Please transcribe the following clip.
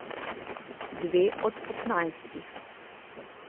Dve od petnajstih.